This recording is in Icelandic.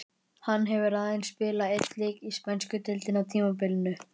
Hann hefur aðeins spilað einn leik í spænsku deildinni á tímabilinu.